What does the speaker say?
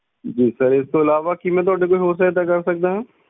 ਜੀ sir ਇਸ ਤੋਂ ਇਲਾਵਾ ਕੀ ਮੈਂ ਤੁਹਾਡੀ ਕੋਈ ਹੋਰ ਸਹਾਇਤਾ ਕਰ ਸਕਦਾ ਹਾਂ?